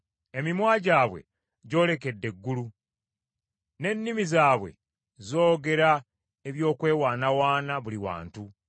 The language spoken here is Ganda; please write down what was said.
Emimwa gyabwe gyolekedde eggulu; n’ennimi zaabwe zoogera eby’okwewaanawaana buli wantu.